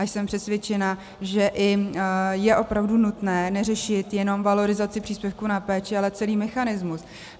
A jsem přesvědčená, že je opravdu nutné neřešit jenom valorizaci příspěvku na péči, ale celý mechanismus.